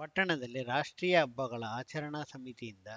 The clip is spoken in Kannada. ಪಟ್ಟಣದಲ್ಲಿ ರಾಷ್ಟ್ರೀಯ ಹಬ್ಬಗಳ ಆಚರಣಾ ಸಮಿತಿಯಿಂದ